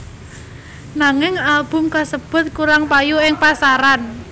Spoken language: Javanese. Nanging album kasebut kurang payu ing pasaran